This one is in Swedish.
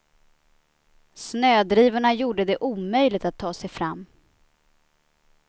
Snödrivorna gjorde det omöjligt att ta sig fram.